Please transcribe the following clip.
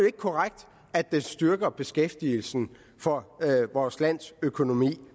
ikke korrekt at den styrker beskæftigelsen for vores lands økonomi